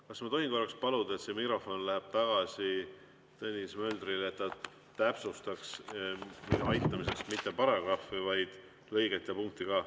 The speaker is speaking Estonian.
Kas ma tohin paluda, et mikrofon läheb tagasi Tõnis Möldrile, et ta täpsustaks minu aitamiseks mitte ainult paragrahvi, vaid lõiget ja punkti ka?